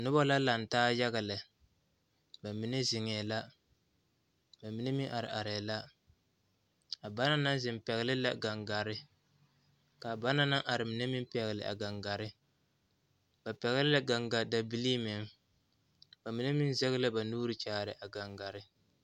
Noba la laŋ taa yaga lɛ ba mine zeŋɛɛ la ba mine meŋ are arɛɛ la a bana naŋ zeŋ pɛgle la gangare ka bana naŋ are mine meŋ pɛgle gaŋgare ba pɛgle la gaŋgadabilii meŋ ba mine meŋ zɛge la ba nuuri kyaare a kaŋgare.